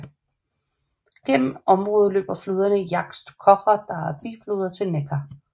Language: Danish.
Gennem området løber floderne Jagst Kocher der er bifloder til Neckar